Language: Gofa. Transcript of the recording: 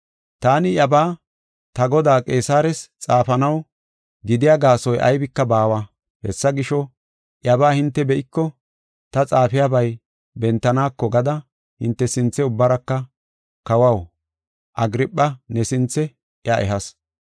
Taani iyabaa ta godaa Qeesares xaafanaw gidiya gaasoy aybika baawa. Hessa gisho, iyabaa hinte be7iko ta xaafiyabay bentaneko gada hinte sinthe ubbaraka Kawaw, Agirpha, ne sinthe iya ehas.